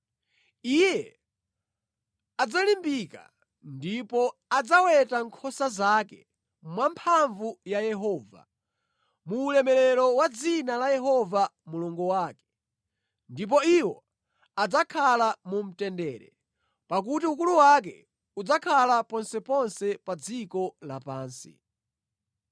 Iye adzalimbika, ndipo adzaweta nkhosa zake mwa mphamvu ya Yehova, mu ulemerero wa dzina la Yehova Mulungu wake. Ndipo iwo adzakhala mu mtendere, pakuti ukulu wake udzakhala ponseponse pa dziko lapansi.